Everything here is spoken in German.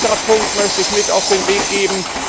Einen weiteren Punkt möchte ich mit auf den Weg geben.